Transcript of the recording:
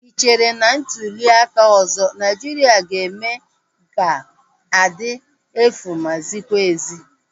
Ị chere na ntuliaka ọzọ Naijiria ga-eme ga-adị efu ma zikwa ezi?